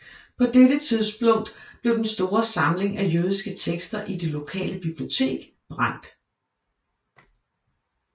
På dette tidspunkt blev den store samling af jødiske tekster i det lokale bibliotek brændt